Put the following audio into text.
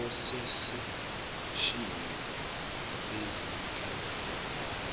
ososeshini bezinhlangano